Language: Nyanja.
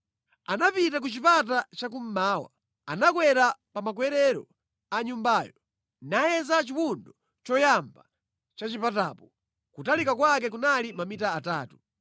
Anapita ku chipata chakummawa. Anakwera pa makwerero a nyumbayo, nayeza chiwundo choyamba cha chipatacho; kutalika kwake kunali mamita atatu.